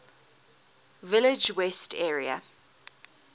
village west area